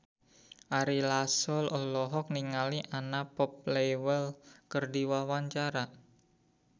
Ari Lasso olohok ningali Anna Popplewell keur diwawancara